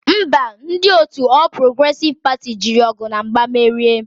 Ḿbà, ndi otu All Progressive Party jiri ogu na mgba merie.